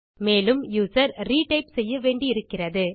மேலும் user retype செய்ய வேண்டி இருக்கிறது